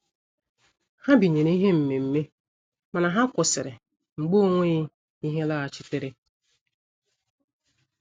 Ha binyere ihe mmemme mana ha kwụsịrị mgbe ọ nweghị ihe laghachitere.